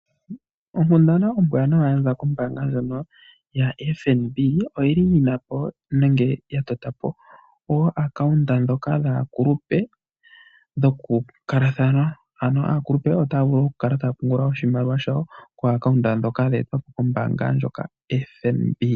Onkundana ombwanawa yaza kombaanga ndjoka yaFNB oyili yina po nenge ya tota po oaccount dhoka dhaakulupe dhokukalathana, ano aakulupe otaya vulu okukala taya pungula oshimaliwa shawo koaccount ndyoka yetwa po koFNB.